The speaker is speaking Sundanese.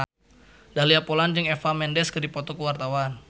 Dahlia Poland jeung Eva Mendes keur dipoto ku wartawan